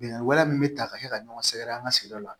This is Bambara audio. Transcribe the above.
Bɛnkan wɛrɛ min be ta ka se ka ɲɔgɔn sɛgɛrɛ an ka sigida la